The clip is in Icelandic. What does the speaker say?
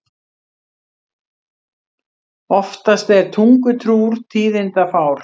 Oftast er tungutrúr tíðindafár.